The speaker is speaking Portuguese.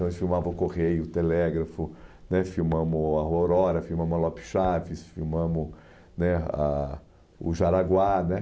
Nós filmava o Correio, o Telégrafo né, filmamos a Aurora, filmamos a Lopes Chaves, filmamos né ah o Jaraguá.